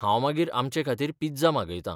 हांव मागीर आमचेखातीर पिझ्झा मागयतां.